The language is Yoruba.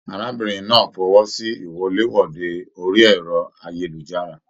Arábìnrin náà fọwọsi iwọ̀lèwọ̀de orí ẹrọ ayélujára.